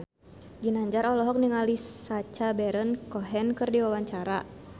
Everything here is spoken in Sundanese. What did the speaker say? Ginanjar olohok ningali Sacha Baron Cohen keur diwawancara